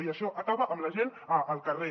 i això acaba amb la gent al carrer